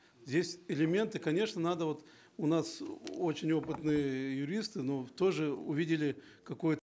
здесь элементы конечно надо вот у нас очень опытные юристы но тоже увидели какое